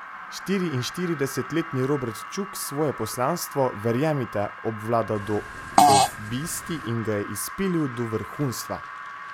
Štiriinštiridesetletni Robert Čuk svoje poslanstvo, verjemite, obvlada do obisti in ga je izpilil do vrhunstva!